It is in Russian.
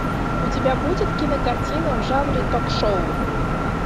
у тебя будет кинокартина в жанре ток шоу